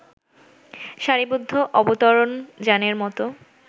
সারিবদ্ধ অবতরণযানের মতো